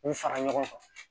U fara ɲɔgɔn kan